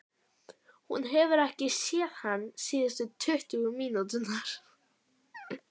Hún hefur ekki séð hann síðustu tuttugu mínúturnar.